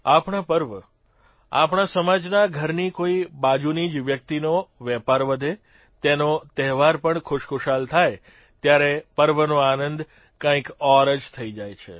આપણા પર્વ આપણા સમાજના ઘરની કોઇ બાજુની જ વ્યક્તિનો વેપાર વધે તેનો તહેવાર પણ ખુશખુશાલ થાય ત્યારે પર્વનો આનંદ કંઇક ઔર થઇ જાય છે